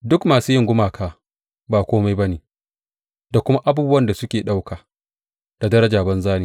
Duk masu yin gumaka ba kome ba ne, da kuma abubuwan da suke ɗauka da daraja banza ne.